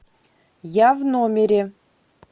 я в номере